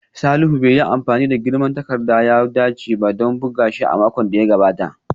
Salihu bai yi amfani da girman takarda da ya dace ba don buga shi a makon da ya gabata